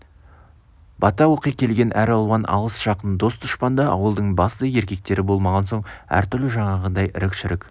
бата оқи келген әралуан алыс-жақын дос дұшпан да ауылдың басты еркектері болмаған соң әртүрлі жаңағыдай ірік-шірік